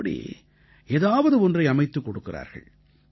இப்படி ஏதாவது ஒன்றை அமைத்துக் கொடுக்கிறார்கள்